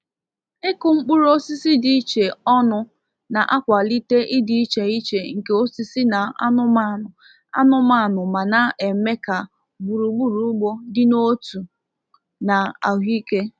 Ịkụ mkpụrụ osisi dị iche ọnụ na-akwalite ịdị iche iche nke osisi na anụmanụ anụmanụ ma na-eme ka gburugburu ugbo dị n'otu na ahụike.